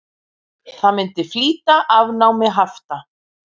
Það myndi flýta afnámi hafta.